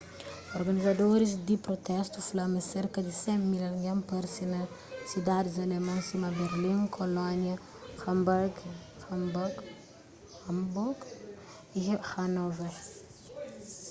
organizadoris di prutestu fla ma serka di 100.000 algen parse na sidadis alemon sima berlin kolónia hanburgu y hanôver